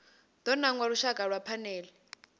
do nanga lushaka lwa phanele